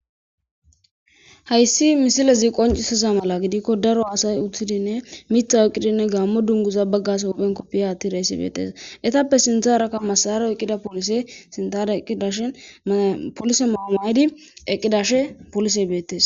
Hayssi misilezi qoncisiza mala gidikko daro haasay uthidinne mitha eqqidinne gaammo dunguza baggas hophen koppiya atti reessi beettes etappe sintharakka masaro eqqida polise sintane eqqidashin polise maamaydi eqqidashe polise beettes.